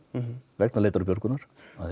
vegna leitar og björgunar